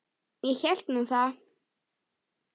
Ég hélt nú það.